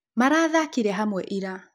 Marathakĩre hamwe ira.